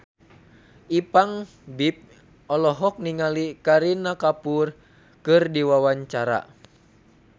Ipank BIP olohok ningali Kareena Kapoor keur diwawancara